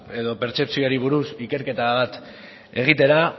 edo pertzepzioari buruz ikerketa bat egitera